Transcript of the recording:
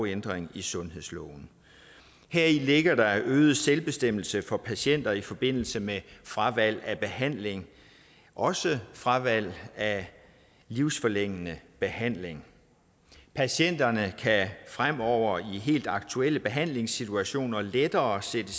ændring af sundhedsloven heri ligger der en øget selvbestemmelse for patienter i forbindelse med fravalg af behandling også fravalg af livsforlængende behandling patienterne kan fremover i helt aktuelle behandlingssituationer lettere sætte